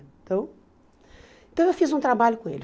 Então, então eu fiz um trabalho com ele.